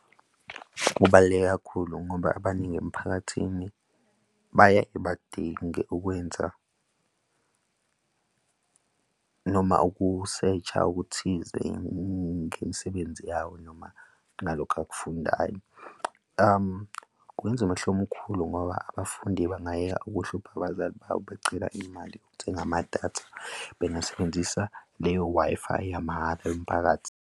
Kubaluleke kakhulu ngoba abaningi emphakathini baye badinge ukwenza noma ukusesha okuthize ngemisebenzi yawo noma nalokhu akufundayo. Kwenza umehluko omkhulu ngoba abafundi bangayeka ukuhlupha abazali babo becela imali yokuthenga amadatha. Bengasebenzisa leyo Wi-Fi yamahhala yomphakathi.